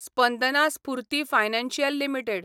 Spandana Sphoorty financial limited